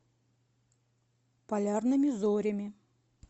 полярными зорями